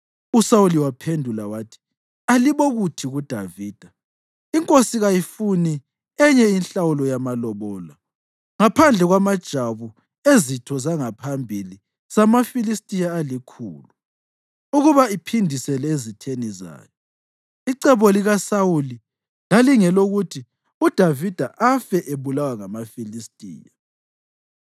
uSawuli waphendula wathi, “Alibokuthi kuDavida, ‘Inkosi kayifuni enye inhlawulo yamalobolo ngaphandle kwamajwabu ezitho zangaphambili zamaFilistiya alikhulu, ukuba iphindisele ezitheni zayo.’ ” Icebo likaSawuli lalingelokuthi uDavida afe ebulawa ngamaFilistiya.